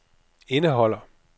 indeholder